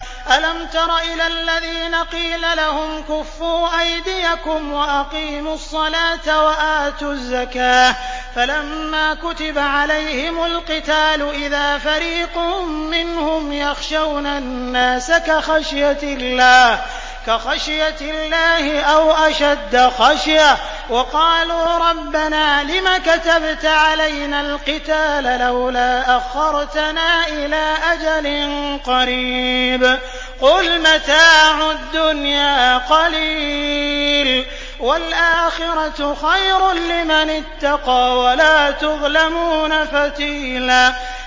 أَلَمْ تَرَ إِلَى الَّذِينَ قِيلَ لَهُمْ كُفُّوا أَيْدِيَكُمْ وَأَقِيمُوا الصَّلَاةَ وَآتُوا الزَّكَاةَ فَلَمَّا كُتِبَ عَلَيْهِمُ الْقِتَالُ إِذَا فَرِيقٌ مِّنْهُمْ يَخْشَوْنَ النَّاسَ كَخَشْيَةِ اللَّهِ أَوْ أَشَدَّ خَشْيَةً ۚ وَقَالُوا رَبَّنَا لِمَ كَتَبْتَ عَلَيْنَا الْقِتَالَ لَوْلَا أَخَّرْتَنَا إِلَىٰ أَجَلٍ قَرِيبٍ ۗ قُلْ مَتَاعُ الدُّنْيَا قَلِيلٌ وَالْآخِرَةُ خَيْرٌ لِّمَنِ اتَّقَىٰ وَلَا تُظْلَمُونَ فَتِيلًا